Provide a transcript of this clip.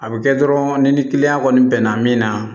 A bɛ kɛ dɔrɔn ni kiliyan kɔni bɛnna min na